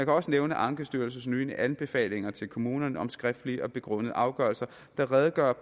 også nævne ankestyrelsens anbefalinger til kommunerne om skriftlige og begrundede afgørelser der redegør